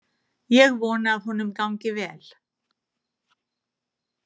Ég vona að honum gangi vel.